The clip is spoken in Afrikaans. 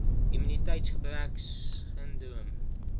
immuniteitsgebreksindroom